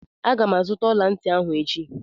Aga m azụta ọla ntị ahụ echi